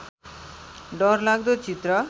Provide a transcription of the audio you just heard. डरलाग्दो चित्र